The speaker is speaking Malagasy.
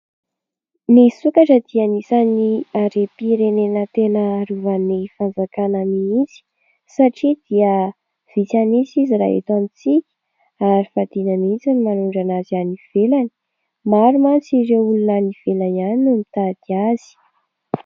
Ny sokatra dia anisan'ny harem-pirenena tena arovan'ny Fanjakana mihitsy satria dia vitsy an'isa izy raha eto amintsika ary fadina mihitsy ny manondrana azy any ivelany. Maro mantsy ireo olona any ivelany any no mitady azy.